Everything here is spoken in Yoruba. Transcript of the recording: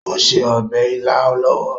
Ó ń se obè ila lọwọ.